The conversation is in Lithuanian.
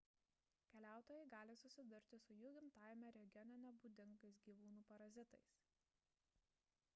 keliautojai gali susidurti su jų gimtajame regione nebūdingais gyvūnų parazitais